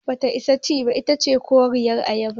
Bata isa ci ba, itace koriyar ayaba.